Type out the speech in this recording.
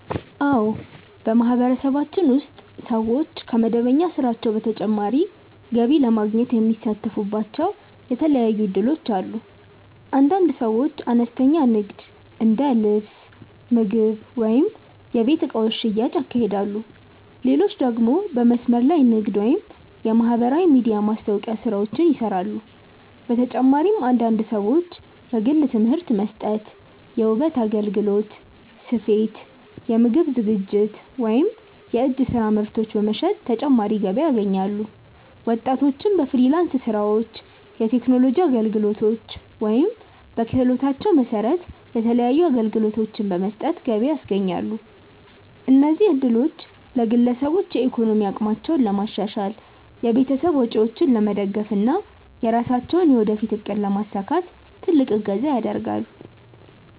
አዎ፣ በማህበረሰባችን ውስጥ ሰዎች ከመደበኛ ስራቸው በተጨማሪ ገቢ ለማግኘት የሚሳተፉባቸው የተለያዩ እድሎች አሉ። አንዳንድ ሰዎች አነስተኛ ንግድ እንደ ልብስ፣ ምግብ ወይም የቤት እቃዎች ሽያጭ ያካሂዳሉ፣ ሌሎች ደግሞ በመስመር ላይ ንግድ ወይም የማህበራዊ ሚዲያ ማስታወቂያ ስራዎችን ይሰራሉ። በተጨማሪም አንዳንድ ሰዎች የግል ትምህርት መስጠት፣ የውበት አገልግሎት፣ ስፌት፣ የምግብ ዝግጅት ወይም የእጅ ስራ ምርቶች በመሸጥ ተጨማሪ ገቢ ያገኛሉ። ወጣቶችም በፍሪላንስ ስራዎች፣ የቴክኖሎጂ አገልግሎቶች ወይም በክህሎታቸው መሰረት የተለያዩ አገልግሎቶችን በመስጠት ገቢ ያስገኛሉ። እነዚህ እድሎች ለግለሰቦች የኢኮኖሚ አቅማቸውን ለማሻሻል፣ የቤተሰብ ወጪዎችን ለመደገፍ እና የራሳቸውን የወደፊት እቅድ ለማሳካት ትልቅ እገዛ ያደርጋል።